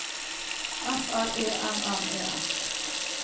F R E M M E S